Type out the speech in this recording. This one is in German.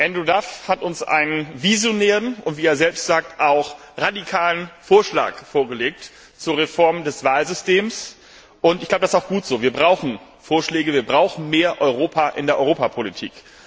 Andrew Duff hat uns einen visionären und wie er selbst sagt auch radikalen Vorschlag zur Reform des Wahlsystems vorgelegt. Ich glaube, das ist gut so, wir brauchen Vorschläge, wir brauchen mehr Europa in der Europapolitik!